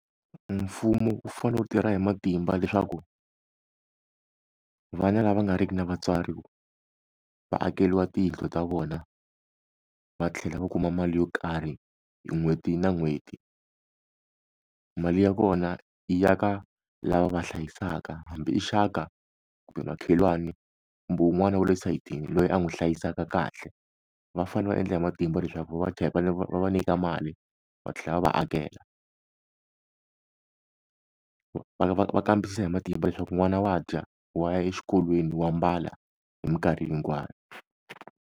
Mfumo wu fanele wu tirha hi matimba leswaku, vana lava va nga ri ki na vatswari, va akeriwa tiyindlu ta vona va tlhela va kuma mali yo karhi hi n'hweti na n'hweti. Mali ya kona ya ka lava va va hlayisaka, hambi xaka, kumbe makhelwani, kumbe wun'wani wa le sayitini, loyi a n'wi hlayisaka kahle. Va fanele va endla hi matimba leswaku va va va va nyika mali va tlhela va va akela. Va va va kambisisa hi matimba leswaku n'wana wa dya wa, ya exikolweni, wa ambala hi minkarhi hinkwayo.